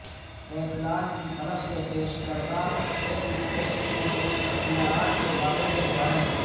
Kaplan کی طرف سے پیش کردہ ایکٹ ٹیسٹ کے اختیارات کے بارے میں جانیں